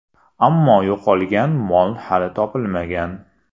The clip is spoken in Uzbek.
Ammo yo‘qolgan mol hali topilmagan.